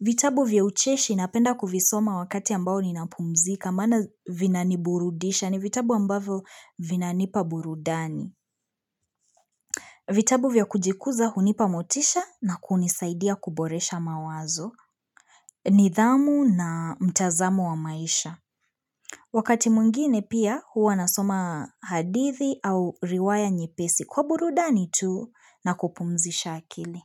Vitabu vya ucheshi napenda kuvisoma wakati ambao ninapumzika, maana vinaniburudisha ni vitabu ambavyo vinanipa burudani. Vitabu vya kujikuza hunipa motisha na kunisaidia kuboresha mawazo, nidhamu na mtazamo wa maisha. Wakati mwingine pia huwa nasoma hadithi au riwaya nyepesi kwa burudani tu na kupumzisha akili.